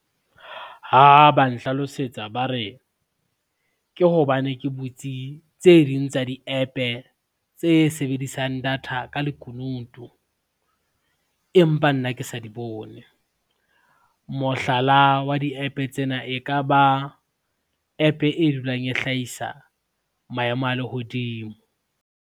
Ha ba nhlalosetsa ba re, ke hobane ke butse tse ding tsa di-app-e tse sebedisang data ka lekunutu, empa nna ke sa di bone. Mohlala wa di-app tsena e ka ba app e dulang e hlahisa maemo a lehodimo.